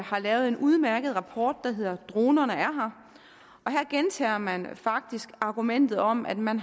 har lavet en udmærket rapport der hedder dronerne er her og her gentager man faktisk argumentet om at man